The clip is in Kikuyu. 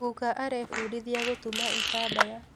Guka arabundithia gũtuma itambaya